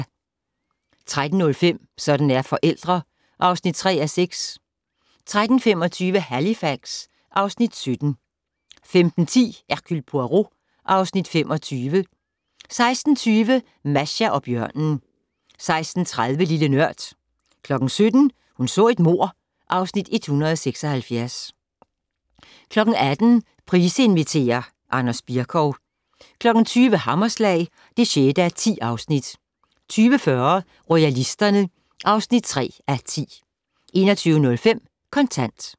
13:05: Sådan er forældre (3:6) 13:25: Halifax (Afs. 17) 15:10: Hercule Poirot (Afs. 25) 16:20: Masha og bjørnen 16:30: Lille Nørd 17:00: Hun så et mord (Afs. 176) 18:00: Price inviterer - Anders Bircow 20:00: Hammerslag (6:10) 20:40: Royalisterne (3:10) 21:05: Kontant